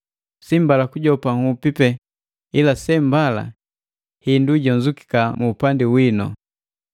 Si mbala kujopa nhupi pena ila sembala hindu hijonzukika mu upandi wino.